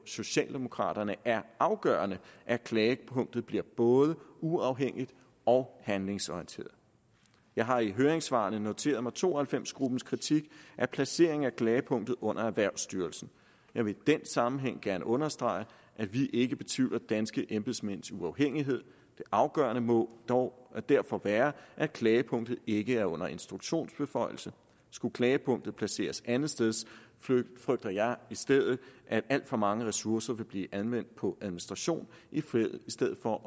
socialdemokraterne er afgørende at klagepunktet bliver både uafhængigt og handlingsorienteret jeg har i høringssvarene noteret mig to og halvfems gruppens kritik af placeringen af klagepunktet under erhvervsstyrelsen jeg vil i den sammenhæng gerne understrege at vi ikke betvivler danske embedsmænds uafhængighed det afgørende mål må derfor være at klagepunktet ikke er under instruktionsbeføjelse skulle klagepunktet placeres andetsteds frygter jeg i stedet at alt for mange ressourcer vil blive anvendt på administration i stedet for